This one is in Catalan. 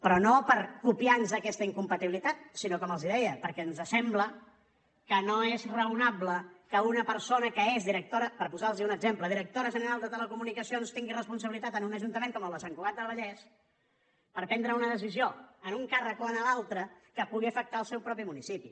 però no per copiar nos aquesta incompatibilitat sinó com els deia perquè ens sembla que no és raonable que una persona que és per posar los en un exemple directora general de telecomunicacions tingui responsabilitat en un ajuntament com el de sant cugat del vallès per prendre una decisió en un càrrec o en l’altre que pugui afectar el seu propi municipi